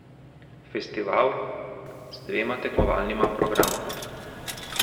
Festival z dvema tekmovalnima programoma.